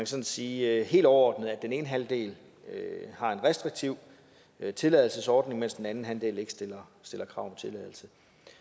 sådan sige helt overordnet at den ene halvdel har en restriktiv tilladelsesordning mens den anden halvdel ikke stiller krav om tilladelse